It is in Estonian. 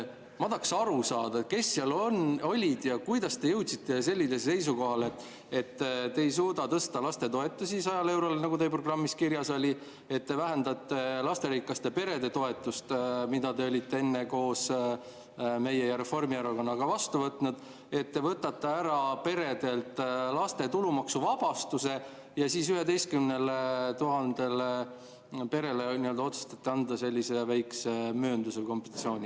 Ma tahaksin aru saada, kes seal olid ja kuidas te jõudsite sellisele seisukohale, et te ei suuda tõsta lastetoetusi 100 eurole, nagu teie programmis kirjas oli, ja et te vähendate lasterikaste perede toetust, mille te olite enne koos meie ja Reformierakonnaga vastu võtnud, et te võtate ära peredelt laste tulumaksuvabastuse ja siis otsustate 11 000 perele anda sellise väikse mööndusega kompensatsiooni.